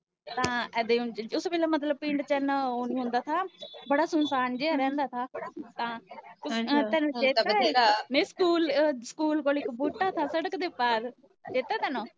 ਤਾਂ ਇਦਾਂ ਹੁੰਦਾ ਉਸ ਵੇਲੇ ਮਤਲਬ ਪਿੰਡ ਚ ਏਨਾ ਓਹੋ ਨੀ ਹੁੰਦਾ ਥਾ ਬੜਾ ਸੁਨਸਾਨ ਜਿਆ ਰੇਂਦਾ ਥਾ ਸਕੂਲ ਸਕੂਲ ਕੋਲ ਇਕ ਬੂਟਾ ਥਾ ਸੜਕ ਦੇ ਪਾਰ, ਚੇਤਾ ਤੈਨੂੰ?